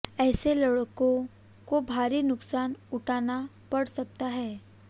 ऐसे लड़को को भारी नुकसान उठाना पड़ सकता है